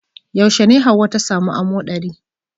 Yaushe ne hauwa ta samu amoɗari